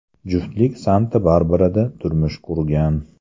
Juftlik Santa-Barbarada turmush qurgan.